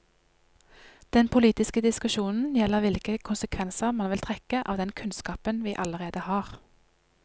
Den politiske diskusjonen gjelder hvilke konsekvenser man vil trekke av den kunnskapen vi allerede har.